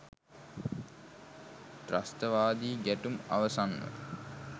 ත්‍රස්තවාදී ගැටුම් අවසන්ව